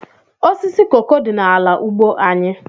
Osisi koko dị n'ala ugbo anyị.